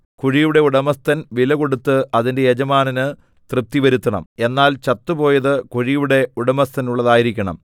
കുഴിയുടെ ഉടമസ്ഥൻ വിലകൊടുത്ത് അതിന്റെ യജമാനന് തൃപ്തിവരുത്തണം എന്നാൽ ചത്തുപോയതു കുഴിയുടെ ഉടമസ്ഥനുള്ളതായിരിക്കണം